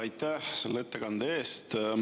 Aitäh selle ettekande eest!